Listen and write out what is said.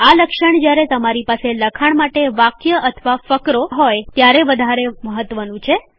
આ લક્ષણ જ્યારે તમારી પાસે લખાણ માટે વાક્ય અથવા ફકરો ત્યારે વધારે મહત્વનું છે